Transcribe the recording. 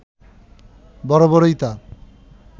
বরাবরই তা